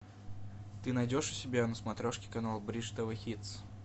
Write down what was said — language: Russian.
ты найдешь у себя на смотрешке канал бридж тв хитс